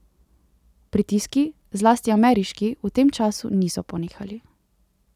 Pritiski, zlasti ameriški, v tem času niso ponehali.